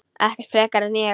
Ekkert frekar en ég.